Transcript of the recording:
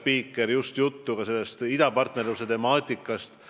Mul oli temaga juttu ka sellest idapartnerluse temaatikast.